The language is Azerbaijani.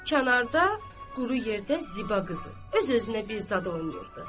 Kənarda quru yerdə Ziba qızı öz-özünə bir zad oynayırdı.